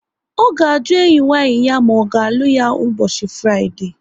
Ọ ga-aju enyi nwaanyi ma ọ ga-alụ ya n' ụbọchị Fraịdee